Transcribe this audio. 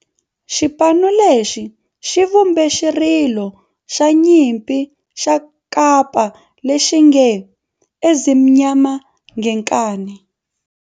Xipano lexi xi vumbe xirilo xa nyimpi xa kampa lexi nge 'Ezimnyama Ngenkani'.